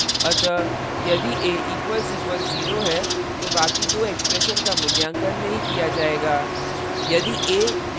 अतः यदि a == zero है तो बाकी दो expression का मूल्यांकन नहीं किया जायेगा